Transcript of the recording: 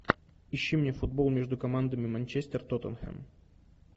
ищи мне футбол между командами манчестер тоттенхэм